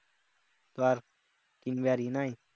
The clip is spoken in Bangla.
তো আর কিনবাড় ইয়ে নাই।